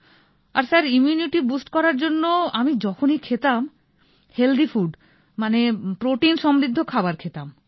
আর sir immunity boost করবার জন্য আমি যখনই খেতাম হেলদি ফুড মানে প্রোটিন সমৃদ্ধ খাবার খেতাম